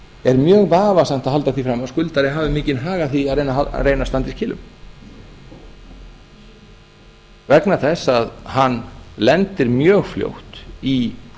er mjög vafasamt að halda því fram að skuldari hafi mikinn hag af því að reyna að standa í skilum vegna þess að hann lendir mjög fljótt í